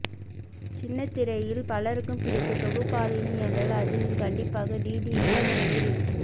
சின்னத்திரையில் பலருக்கும் பிடித்த தொகுப்பாளினி என்றால் அதில் கண்டிப்பாக டிடியின் பெயர் இருக்கும்